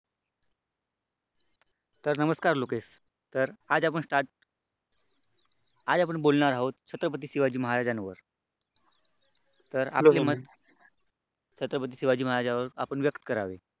तर नमस्कार लोकेश तर आज आपण स्टार्ट आज आपण बोलणार आहोत छत्रपती शिवाजी महाराजांवर तर आपले मत छत्रपती शिवाजी महाराजांवर व्यक्त करावे.